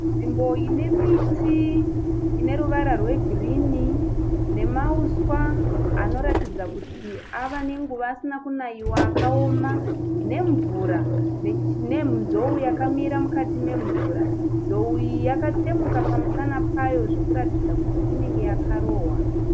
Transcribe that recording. Nzvimbo ine miti ine ruvara rwegirini nemauswa anoratidza kuti ave nenguva asina kunaiwa akaoma, nemvura, nenzou yakamira mukati memvura. Nzou iyi yakatsemuka pamusana payo zvekuratidza kuti inenge yakarohwa.